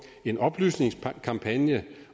en oplysningskampagne